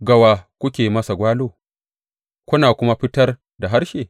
Ga wa kuke masa gwalo kuna kuma fitar da harshe?